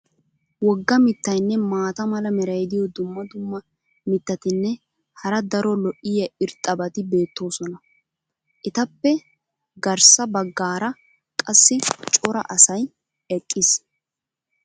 Woga mitaynne maata mala meray diyo dumma dumma mitatinne hara daro lo'iya irxxabati beetoosona. etappe garssa bagaara qassi cora asay eqqiis.